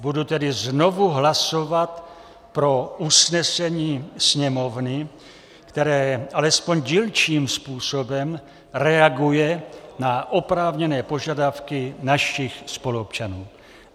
Budu tedy znovu hlasovat pro usnesení Sněmovny, které alespoň dílčím způsobem reaguje na oprávněné požadavky našich spoluobčanů.